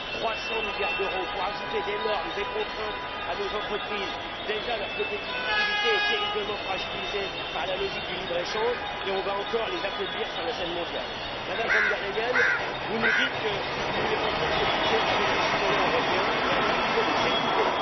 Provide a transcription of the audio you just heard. Trois cents milliards d'euros pour ajouter des normes, des contraintes à nos entreprises dont la compétitivité est déjà terriblement fragilisée par la logique du libre échange, cela va encore les affaiblir sur la scène mondiale. Madame von der Leyen, vous nous dites que vous voulez construire ce budget avec les citoyens européens, mais alors il faut les écouter.